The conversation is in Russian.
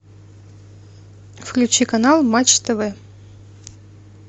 включи канал матч тв